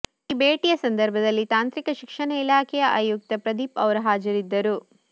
ಈ ಭೇಟಿಯ ಸಂದರ್ಭದಲ್ಲಿ ತಾಂತ್ರಿಕ ಶಿಕ್ಷಣ ಇಲಾಖೆಯ ಆಯುಕ್ತ ಪ್ರದೀಪ್ ಅವರು ಹಾಜರಿದ್ದರು